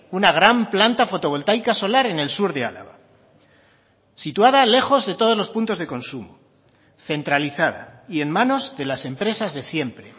una gran planta fotovoltaica solar en el sur de álava situada lejos de todos los puntos de consumo centralizada y en manos de las empresas de siempre